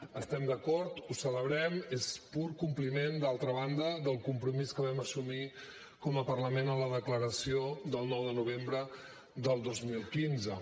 hi estem d’acord ho celebrem és pur compliment d’altra banda del compromís que vam assumir com a parlament en la declaració del nou de novembre del dos mil quinze